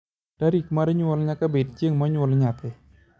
tarik mar nyuol nyaka bed chieng monyuol nyathi